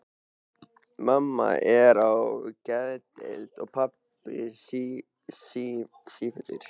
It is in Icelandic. Mamma er á geðdeild og pabbi sífullur.